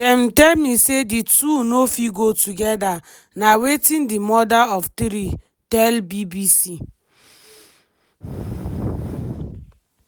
dem tell me say di two no fit go together "na wetin di mother of three tell bbc.